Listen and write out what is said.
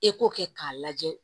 E k'o kɛ k'a lajɛ